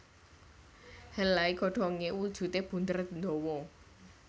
Helai godhonge wujude bunder ndawa